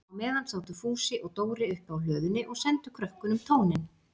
Á meðan sátu Fúsi og Dóri uppi á hlöðunni og sendu krökkunum tóninn.